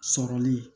Sɔrɔli